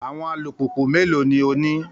Àwọn alùpùpù méèló ni o ní?